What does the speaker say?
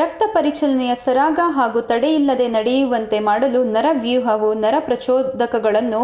ರಕ್ತ ಪರಿಚಲನೆಯು ಸರಾಗ ಹಾಗೂ ತಡೆಯಿಲ್ಲದೆ ನಡೆಯುವಂತೆ ಮಾಡಲು ನರವ್ಯೂಹವು ನರ ಪ್ರಚೋದಕಗಳನ್ನು